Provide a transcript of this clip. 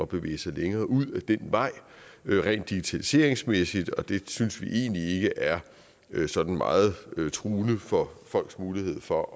bevæge sig længere ud ad den vej rent digitaliseringsmæssigt og det synes vi egentlig ikke er sådan meget truende for folks mulighed for